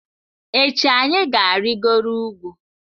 Echi anyị ga-arịgoro ugwu.